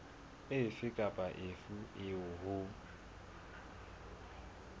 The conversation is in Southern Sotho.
efe kapa efe eo ho